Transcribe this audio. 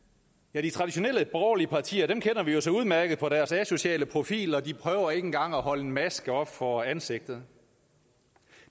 ja de traditionelle borgerlige partier kender vi jo så udmærket på deres asociale profil og de prøver ikke engang at holde en maske op for ansigtet